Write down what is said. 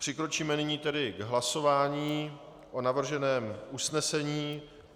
Přikročíme nyní tedy k hlasování o navrženém usnesení.